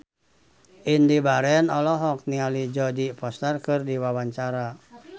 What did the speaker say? Indy Barens olohok ningali Jodie Foster keur diwawancara